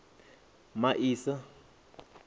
masia